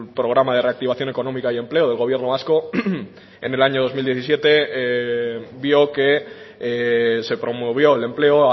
programa de reactivación económica y empleo del gobierno vasco en el año dos mil diecisiete vio que se promovió el empleo